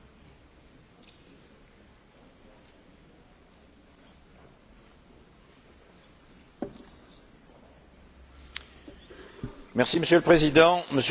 Monsieur le Président, Monsieur le Président du Conseil, Monsieur le Commissaire, chers collègues, la séance de conciliation de la semaine dernière a permis de parvenir à un accord.